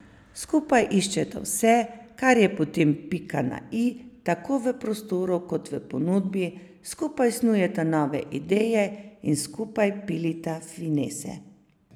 Skupaj iščeta vse, kar je potem pika na i tako v prostoru kot ponudbi, skupaj snujeta nove ideje in skupaj pilita finese.